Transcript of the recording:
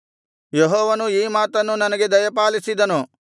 ಯೆಹೋವನು ಈ ಮಾತನ್ನು ನನಗೆ ದಯಪಾಲಿಸಿದನು